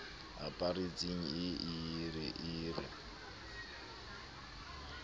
aparetseng e ye e re